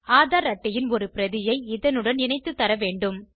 ஆதார் அட்டையின் ஒரு பிரதி இதனுடன் இணைத்து தரவேண்டும்